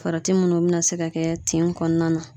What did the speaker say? Farati munnu bi na se ka kɛ tin kɔnɔna na